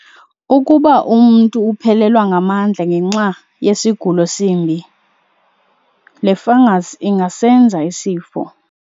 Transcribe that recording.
Ukuba umntu uphelelwa ngamandla ngenxa yasigulo simbi, le fungus ingasenza isifo.